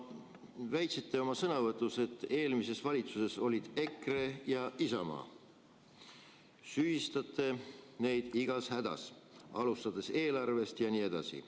Te väitsite oma sõnavõtus, et eelmises valitsuses olid EKRE ja Isamaa, ning süüdistasite neid igas hädas, alustades eelarvest jne.